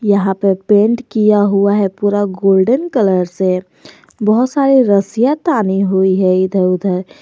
यहां पे पेंट किया हुआ है पूरा गोल्डन कलर से बहुत सारे रस्सियां तानी हुई है इधर उधर।